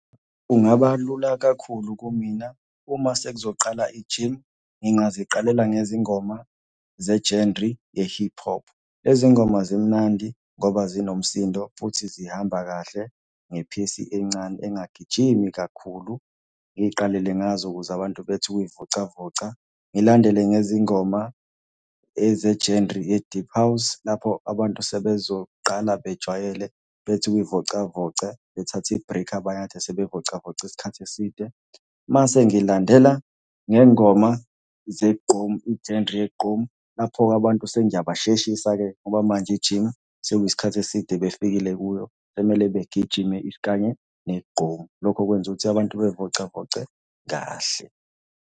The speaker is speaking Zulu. Kungaba lula kakhulu kumina, uma sekuzoqala i-gym ngingaziqalela ngezingoma ze-genre ye-hip hop. Lezi ngoma zimnandi ngoba zinomsindo, futhi zihamba kahle nge-pace encane engagijimi kakhulu. Ngiy'qalele ngazo ukuze abantu bethi ukuy'vocavoca. Ngilandele ngezingoma eze-genre ye-deep house, lapho abantu sebezoqala bejwayele bethi ukuy'vocavoca bethathe i-break abanye ekade sebey'vocavoce isikhathi eside. Mase ngilandela ngey'ngoma zegqomu, i-genre yegqomu, lapho-ke abantu sengiyabasheshisa-ke ngoba manje i-gym sekuyisikhathi eside befikile kuyo sekumele begijime isikanye negqomu. Lokho kwenza ukuthi abantu bey'vocavoce kahle.